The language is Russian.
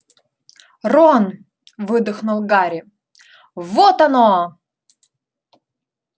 рон выдохнул гарри вот оно